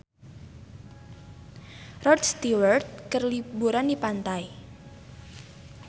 Rod Stewart keur liburan di pantai